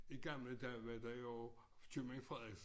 I gamle dage var der jo Købmand Frederiksen